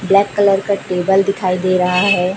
Black colour का table दिखाई दे रहा है।